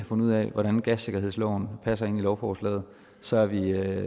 fundet ud af hvordan gassikkerhedsloven passer ind i lovforslaget så vi